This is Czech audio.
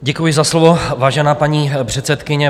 Děkuji za slovo, vážená paní předsedkyně.